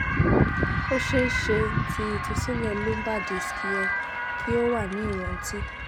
o ṣeeṣe ti itusilẹ lumbar disc yẹ ki o wa ni iranti